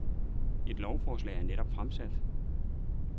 Et lovforslag er netop fremsat.